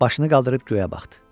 Başını qaldırıb göyə baxdı.